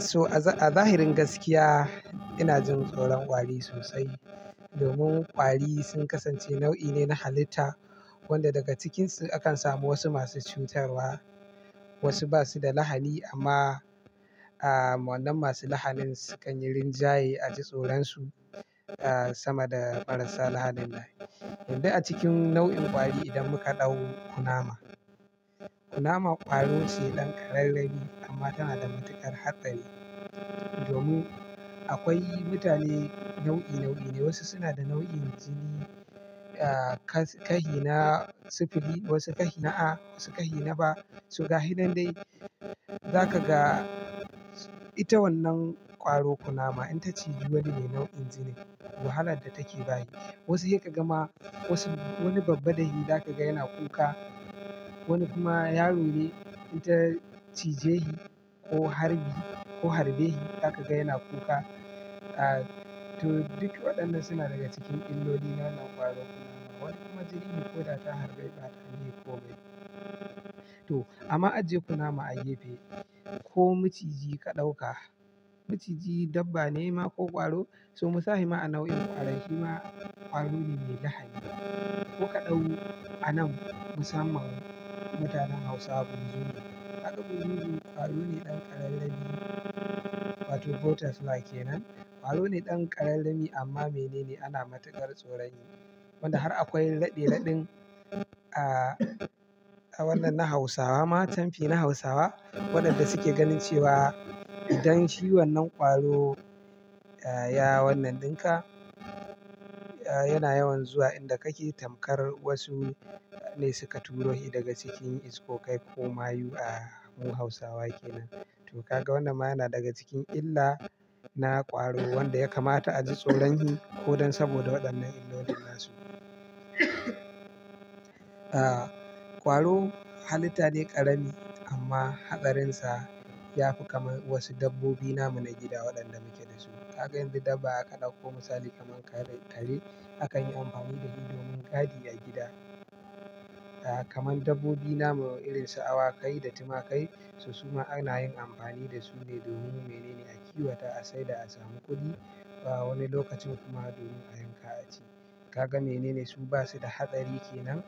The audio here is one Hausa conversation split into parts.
So a zahirin gaskiya, ina jin tsoron kwari sosai, domin kwari sun kasance nau'i ne na halitta, wanda daga cikinsu akan samu wasu masu cutarwa, wasu ba su da lahani amma, a, wannan masu lahanin sukan yi rinjaye a ji tsoron su, a, sama da marasa lahanin nan. Wanda a cikin nau'in kwari idan muka ɗau kunama. Kunama ƙwaro ce ɗan ƙararrami amma tana da matuƙar haɗari. Domin akwai mutane nau'i, nau'i ne wasu suna da nau'in jini, a, ka-kahina sifili wasu kahina a wasu kahina B su ga hi nan dai, zaka ga ita wannan ƙwaro kunama in ta ciji wani ne nau'in jini. Wahalar da take bahi kenam. Wasu sai ka gama wasu wani babba da hi zaka ga yana kuka. Wani kuma yaro ne in ta cije shi, ko harbi ko harbe shi zaka ga yana kuka. A, to duk waɗannan suna daga cikin illoli na wannan ƙwaro kunama. Wani kuma jini ko da ta harbe bata a yi komai. To amma a je kunama a yi fe ko maciji ka ɗauka. Maciji dabba ne ma ko ƙwaro, so mu sahe ma a nau'in ƙwarai shi ma ƙwaro ne mai lahani. Mu ka ɗau a nan musamman mutanen Hausawa burzuni. Haka burzuni ƙwaro ne ɗan ƙararrawai wato ɓotifla kenan. Ƙwaro ne ɗan ƙararrami amma mene ne ana matuƙar tsoron shi. Wanda har akwai raɗe-raɗin ah wato canfi na hausawa ma idan shi wannan kwaro a ya wannann ɗinka a, yana yawan zuwa inda kake tamkar wasu, ne suka turo shi daga cikin iskokai ko mayu, a, mu Hausawa kenan. To ka ga wannan ma yana daga cikin illa na ƙwaro wanda ya kamata a ji tsoron hi, ko dan saboda waɗannan illolin nasu. A, ƙwaro halitta ne ƙarami amma haɗarin sa, ya fi kamar wasu dabbobi namu na gida waɗanda muke dasu. Kaga yanzu dabba aka ɗauko misali kamar kare, kare akan yi amfani da shi domin gadi a gida. A, kamar dabbobi namu irin su awakai da tumakai, su kuma ana yin amfani da su ne domin mene ne a kiwata sai da a samu kuɗi. A wani lokacin kuma domin a yanka a ci. Kaga mene ne su basu da haɗari kenan,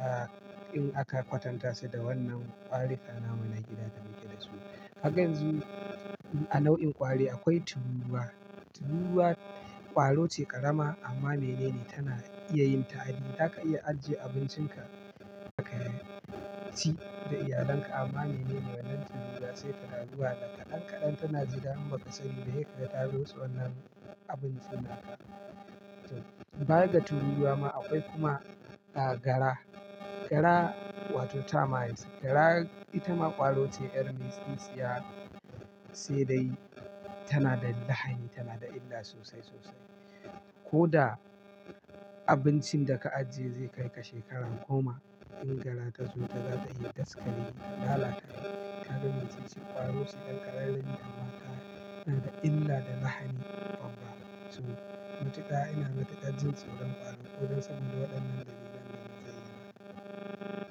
a, in aka kwatanta su da wannan ƙwari kan namu na gida da muke dasu. Haka yanzu, a nau'in ƙwari akwai tururuwa. Tururuwa kwaro ne ƙarama, amma mene ne, tana iya ta adi za ka iya ajiye abuncin ka kaci da iyalan ka tana zua tana jida ta to baya ga tururuwa ma akwai kuma, a, agara. Gara wato tamarisk. Gara ita ma ƙwaro ce ƴar misisisiya. Sai dai tana da lahani tana da illa sosai, sosai. Ko da abincin da ka ajiye zai kai ka shekarar goma in gara ta zo ta za ta yi daskare ta lalata. Kaga me ce ƙwaro su ɗan ƙararrawai amma suna da illa da lahani kwaba. So mutiƙa ina matuƙar jin tsoron ƙwaro ko dan saboda waɗannan dalilan da na zayyana.